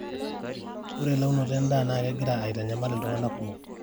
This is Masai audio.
ore elaunoto endaa naa tegira aitanyamal iltung'ana kumok